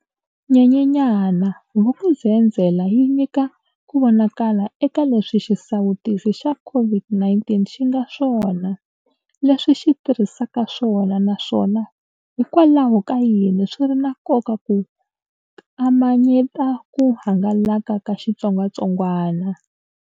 Nyenyenyana, Vuk'uzenzele yi nyika ku vonaka la eka leswi xisawutisi xa COVID-19 xi nga swona, leswi xi tirhisaka swona naswona hikwalaho ka yini swi ri na nkoka ku kama nyeta ku hangalaka ka xitsongwatsongwana.